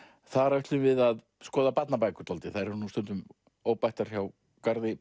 þar ætlum við að skoða barnabækur þær eru stundum óbættar hjá garði